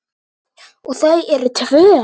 Og þau eru tvö.